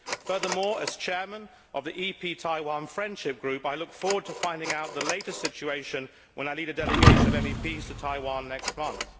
Furthermore, as chairman of the EP Taiwan Friendship Group, I look forward to finding out the latest situation when I lead a delegation of MEPs to Taiwan next month.